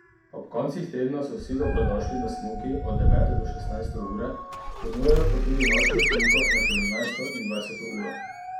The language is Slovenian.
Ob koncih tedna so vsi dobrodošli na smuki od devete do šestnajste ure, ponujajo pa tudi nočno smuko med sedemnajsto in dvajseto uro.